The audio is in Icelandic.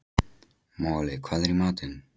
Moli, hvað er í matinn?